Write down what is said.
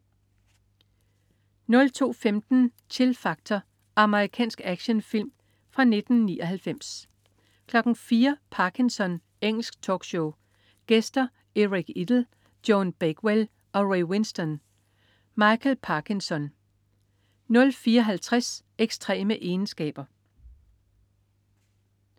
02.15 Chill Factor. Amerikansk actionfilm fra 1999 04.00 Parkinson. Engelsk talkshow. Gæster: Eric Idle, Joan Bakewell og Ray Winstone. Michael Parkinson 04.50 Ekstreme egenskaber